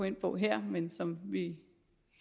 ind på her men som vi